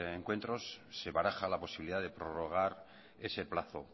encuentros se baraja la posibilidad de prorrogar ese plazo